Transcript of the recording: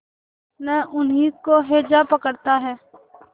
न उन्हीं को हैजा पकड़ता है